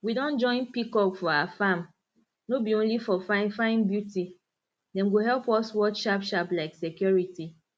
we don join peacock for our farm no be only for finefine beauty dem go help us watch sharpsharp like security